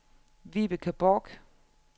Vibeke Borch